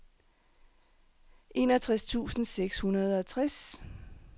enogtres tusind seks hundrede og tres